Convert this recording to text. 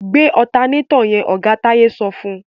Gbé ọ̀tanátọ̀ yẹn! Oga Táyé sọ fún.